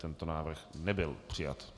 Tento návrh nebyl přijat.